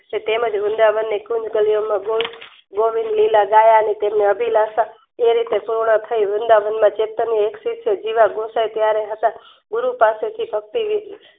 તેમજ વૃંદાવન ને ગોવિંદ લીલાગાવા ની તેમને અભિલાષા તે એક પૂર્ણ થઇ વૃંદાવનના ચેતનની જીવ જ્યુસે હતો ગુરુ પાસેથી ભક્તિ લીધી